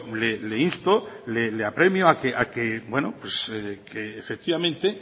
le insto le apremio a que efectivamente